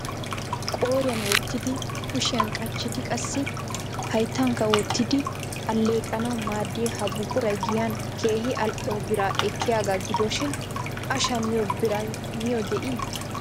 Qooriyan wottidi, kushiyan qachchidi qassi hayttankka wottidi alleeqanaw maaddiya ha buquray giyan keehi al''o biraa ekiyaaga gidoshin a shammiyo biray niyo de'ii?